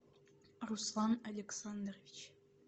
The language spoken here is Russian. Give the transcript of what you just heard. руслан александрович